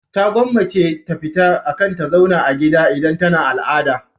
Ta gwammace ta fita akan ta zauna a gida idan tana al'ada.